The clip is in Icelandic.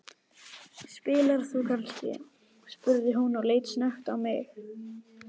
Spilar þú kannski? spurði hún og leit snöggt á mig.